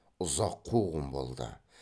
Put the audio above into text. ұзақ қуғын болды